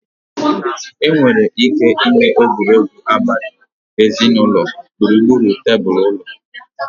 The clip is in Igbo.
Enwere ike ịme egwuregwu abali ezinụlọ gburugburu tebụl ụlọ.